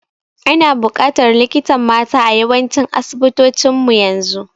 Ana bukatar likitan mata a yawancin asibitocin mu yanzu